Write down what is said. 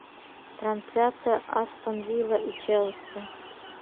трансляция астон вилла и челси